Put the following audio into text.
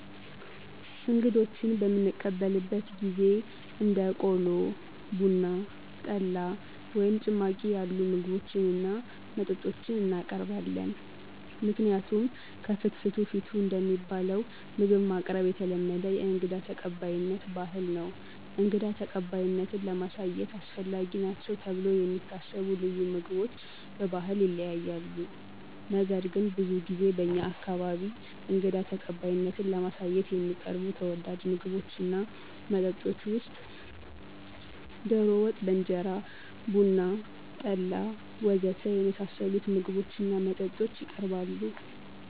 እንግዶችን በምንቀበልበት ጊዜ እንደ ቆሎ፣ ቡና፣ ጠላ ወይም ጭማቂ ያሉ ምግቦችን እና መጠጦችን እናቀርባለን። ምክንያቱም ከፍትፍቱ ፊቱ እንደሚባለው ምግብ ማቅረብ የተለመደ የእንግዳ ተቀባይነት ባህል ነው። እንግዳ ተቀባይነትን ለማሳየት አስፈላጊ ናቸው ተብለው የሚታሰቡ ልዩ ምግቦች በባህል ይለያያሉ። ነገር ግን ብዙ ጊዜ በእኛ አካባቢ እንግዳ ተቀባይነትን ለማሳየት ከሚቀርቡ ተወዳጅ ምግቦች እና መጠጦች ውስጥ ዶሮ ወጥ በእንጀራ፣ ቡና፣ ጠላ ወ.ዘ.ተ. የመሳሰሉት ምግቦች እና መጠጦች የቀርባሉ።